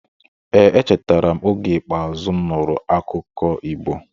Ee, echetara m oge ikpeazu m nụrụ akụkọ Igbo.